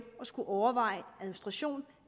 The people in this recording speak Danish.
og overveje administration